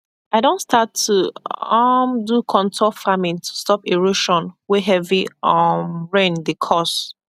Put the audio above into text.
i don start to um do contour farming to stop erosion wey heavy um rain dey cause